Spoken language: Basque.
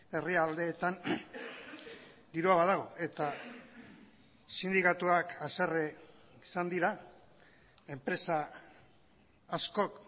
herrialdeetan dirua badago eta sindikatuak haserre izan dira enpresa askok